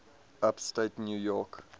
upstate new york